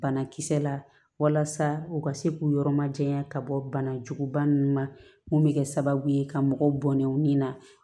Banakisɛ la walasa u ka se k'u yɔrɔ majanya ka bɔ bana juguguba ninnu ma mun bɛ kɛ sababu ye ka mɔgɔw bɔnnen u ni na